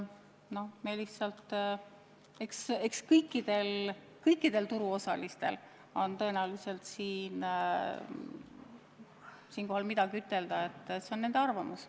Küllap kõikidel turuosalistel on selle kohta midagi ütelda, see on nende arvamus.